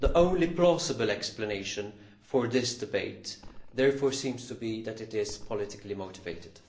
The only plausible explanation for this debate therefore seems to be that it is politically motivated.